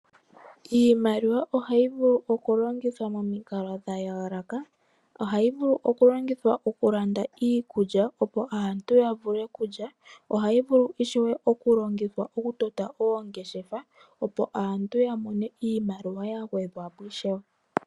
Iimaliwa ohayi vulu okulongithwa momikalo dha yooloka. Ohayi vulu okulongithwa okulanda iikulya, opo aantu ya mone iikulya. Ohayi vulu ishewe okulongithwa okutota oongeashefa, opo aantu ya mone iimaliwa yimwe ya gwedhwa po ishewe.